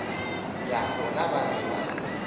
ya bona ba be ba